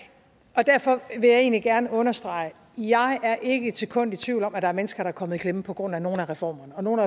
og derfor vil jeg egentlig gerne understrege jeg er ikke et sekund i tvivl om at der er mennesker der er kommet i klemme på grund af nogle af reformerne og nogle af